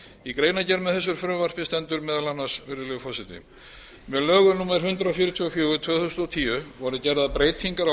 í greinargerð með þessu frumvarpi stendur meðal annars virðulegur forseti með lögum númer hundrað fjörutíu og fjögur tvö þúsund og tíu voru gerðar breytingar á